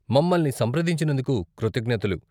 మమ్మల్ని సంప్రదించినందుకు కృతజ్ఞతలు.